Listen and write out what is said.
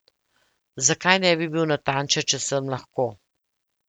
Zakaj ne bi bil natančen, če sem lahko?